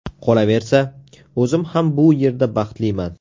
Qolaversa, o‘zim ham bu yerda baxtliman.